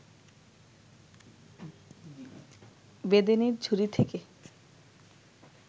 বেদেনির ঝুড়ি থেকে